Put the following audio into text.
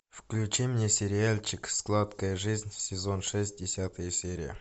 включи мне сериальчик сладкая жизнь сезон шесть десятая серия